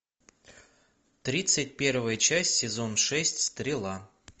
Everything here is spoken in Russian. тридцать первая часть сезон шесть стрела